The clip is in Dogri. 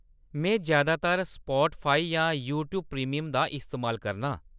में ज्यादातर स्पॉटफाई जां यूट्यूब प्रीमियम दा इस्तेमाल करनां।